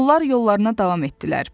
Onlar yollarına davam etdilər.